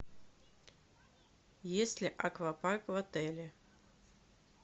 есть ли аквапарк в отеле